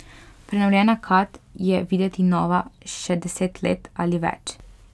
Prenovljena kad je videti nova še deset let ali več.